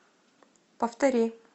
повтори